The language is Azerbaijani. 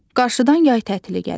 Qarşıdan yay tətili gəlir.